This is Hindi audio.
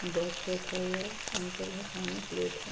बॉक्स रखा हुआ है। अंकल है। सामने प्लेट है।